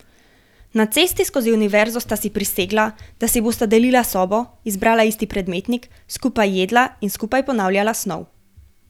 Na cesti skozi univerzo sta si prisegla, da si bosta delila sobo, izbrala isti predmetnik, skupaj jedla in skupaj ponavljala snov.